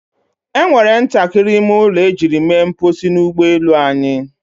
E nwere ntakịrị ime ụlọ ejiri mere mposi n'ụgbọ elu anyị.